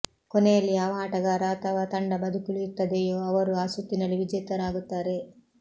ಕೊನೆಯಲ್ಲಿ ಯಾವ ಆಟಗಾರ ಅಥವಾ ತಂಡ ಬದುಕುಳಿಯುತ್ತದೆಯೋ ಅವರು ಆ ಸುತ್ತಿನಲ್ಲಿ ವಿಜೇತರಾಗುತ್ತಾರೆ